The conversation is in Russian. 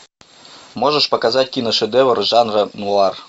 можешь показать киношедевр жанра нуар